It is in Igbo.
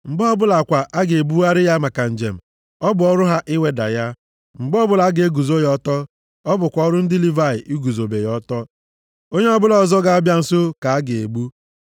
Mgbe ọbụla kwa a ga-ebugharị ya maka njem, ọ bụ ọrụ ha iweda ya. Mgbe ọbụla a ga-eguzo ya ọtọ, ọ bụkwa ọrụ ndị Livayị iguzobe ya ọtọ. Onye ọbụla ọzọ ga-abịa nso ka a ga-egbu.